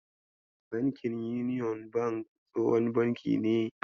Bankin Union bank tsohon banki ne.